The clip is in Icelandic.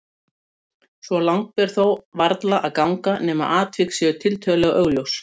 Svo langt ber þó varla að ganga nema atvik séu tiltölulega augljós.